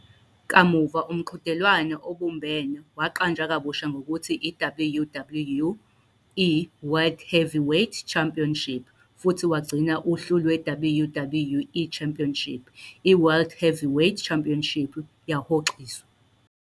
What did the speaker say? Kamuva, umqhudelwano obumbene waqanjwa kabusha ngokuthi i-WWE World Heavyweight Championship futhi wagcina uhlu lwe-WWE Championship, iWorld Heavyweight Championship yahoxiswa.